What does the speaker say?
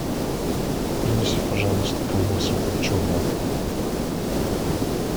принеси пожалуйста колбасу копченую